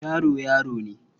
Yaro, yaro ne.